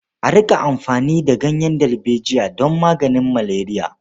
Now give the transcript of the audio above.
A riƙa amfani da ganyen dalbejiya don maganin maleriya.